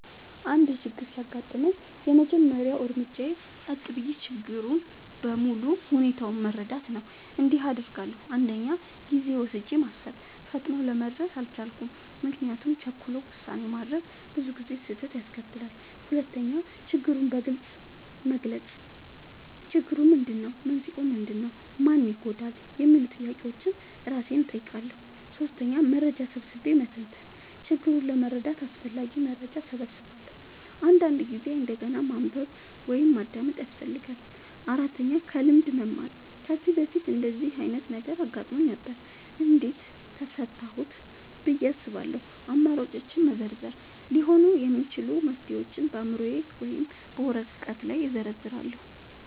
አንድ ችግር ሲያጋጥመኝ፣ የመጀመሪያው እርምጃዬ ጸጥ ብዬ ችግሩን በሙሉ ሁኔታው መረዳት ነው። እንዲህ አደርጋለሁ፦ 1. ጊዜ ወስጄ ማሰብ – ፈጥኖ ለመድረስ አልቸኩልም፤ ምክንያቱም ቸኩሎ ውሳኔ ማድረግ ብዙ ጊዜ ስህተት ያስከትላል። 2. ችግሩን በግልጽ መግለጽ – "ችግሩ ምንድነው? መንስኤው ምንድነው? ማን ይጎዳል?" የሚሉ ጥያቄዎችን እራሴን እጠይቃለሁ። 3. መረጃ ሰብስቤ መተንተን – ችግሩን ለመረዳት አስፈላጊ መረጃ እሰበስባለሁ፤ አንዳንድ ጊዜ እንደገና ማንበብ ወይም ማዳመጥ ያስፈልጋል። 4. ከልምድ መማር – "ከዚህ በፊት እንደዚህ ዓይነት ነገር አጋጥሞኝ ነበር? እንዴት ፈታሁት?" ብዬ አስባለሁ። 5. አማራጮችን መዘርዘር – ሊሆኑ የሚችሉ መፍትሄዎችን በአእምሮዬ ወይም በወረቀት ላይ እዘርዝራለሁ።